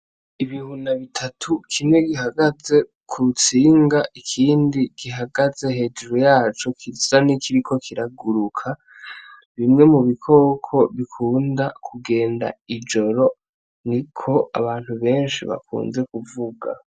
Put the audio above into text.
Ibihuna bitatu, kimwe kihagaze kutsinga ikindi kihagaze hejuru yaco, gisa nkikiriko kiraguruka, bimwe mu bikoko bikunda kugenda ijoro, niko abantu benshi bakunze kuvuga.